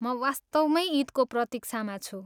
म वास्तवमै इदको प्रतिक्षामा छु ।